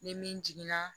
Ni min jiginna